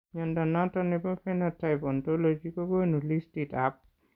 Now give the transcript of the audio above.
Mnyondo noton nebo Phenotype Ontology kogonu listiit ab